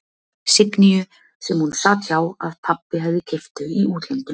Signýju sem hún sat hjá, að pabbi hefði keypt þau í útlöndum.